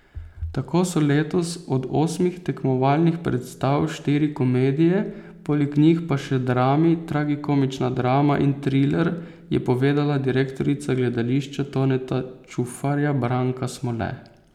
Tako so letos od osmih tekmovalnih predstav štiri komedije, poleg njih pa še drami, tragikomična drama in triler, je povedala direktorica Gledališča Toneta Čufarja Branka Smole.